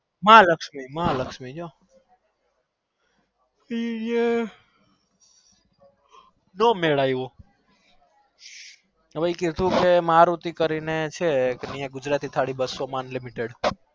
માં લક્ષ્મી તેય મેર નાવેયું મારુતિ કરી ન છે ગુજરાતી અહારી બસો માં